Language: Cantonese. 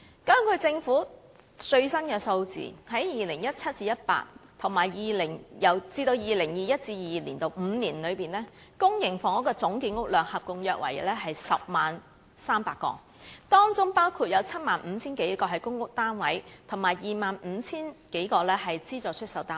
根據政府的最新數字，由 2017-2018 年度至 2021-2022 年度的5年內，公營房屋的總建屋量約為 100,300 個，當中包括 75,000 多個公屋單位和 25,000 多個資助出售單位。